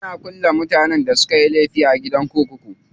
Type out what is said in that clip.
Ana kulle mutanen da sukayi laifi a gidan kurkuku.